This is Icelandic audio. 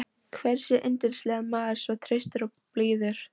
hversu yndislegur maður, svo traustur, svo blíður.